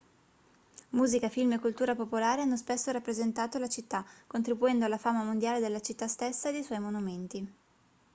musica film e cultura popolare hanno spesso rappresentato la città contribuendo alla fama mondiale della città stessa e dei suoi monumenti